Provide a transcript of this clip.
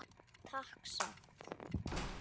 Ég skal tala við Stellu.